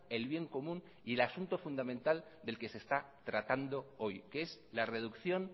el bien común y el asunto fundamental del que se está tratando hoy que es la reducción